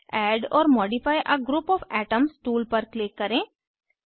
add or modify a group of atoms tool पर click करें